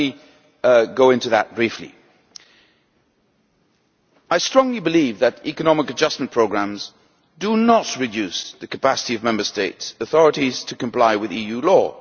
So let me go into that briefly I strongly believe that economic adjustment programmes do not reduce the capacity of Member State authorities to comply with EU law.